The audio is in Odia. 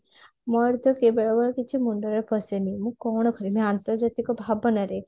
ମୋର ତ ବେଳେ ବେଳେ କିଛି ମୁଣ୍ଡରେ ପଶେନି ମୁ କଣ କରିବି ଅନ୍ତର୍ଜାତିକ ଭାବନା ରେ